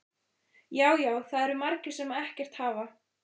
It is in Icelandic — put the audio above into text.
Já, já, það eru margir sem ekkert hafa.